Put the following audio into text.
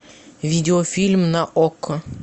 видеофильм на окко